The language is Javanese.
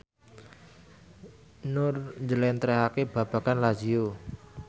Nur njlentrehake babagan Lazio